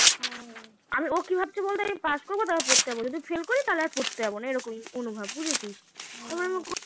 ও কি ভাবছে বলতো আগে পাস করবো তারপর পড়তে যাবো যদি ফেল করি তাহলে পড়তে যাবো না মনোভাব ভুঝেছিস